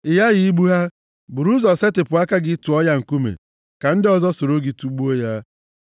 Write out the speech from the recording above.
Ị ghaghị igbu ha. Buru ụzọ setịpụ aka gị tụọ ya nkume, ka ndị ọzọ soro gị tugbuo ya.